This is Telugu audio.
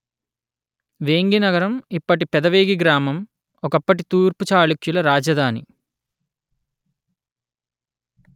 వేంగి నగరం ఇప్పటి పెదవేగి గ్రామం ఒకప్పటి తూర్పు చాళుక్యుల రాజధాని